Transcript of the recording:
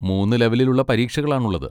മൂന്ന് ലെവലിലുള്ള പരീക്ഷകളാണുള്ളത്.